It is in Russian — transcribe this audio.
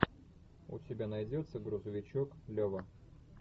у тебя найдется грузовичок лева